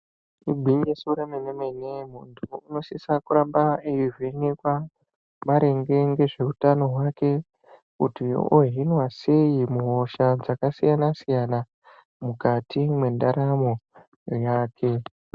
Igwinyiso remene-mene muntu unosisa kuramba eihwenekwa maringe ngezveutano hwake kuti ohinwa sei muhosha dzakasiyana-siyana mwukati mwendaramo yake.